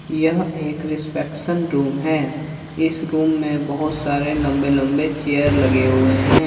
यह एक reception room है इस रूम में बहुत सारे लंबे-लंबे चेयर लगे हुए हैं।